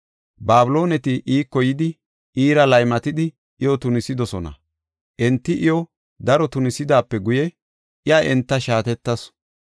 Babilooneti iiko yidi, iira laymatidi iyo tunisidosona. Enti iyo daro tunisidaape guye, iya enta shaatetasu.